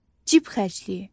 Cib xərcliyi.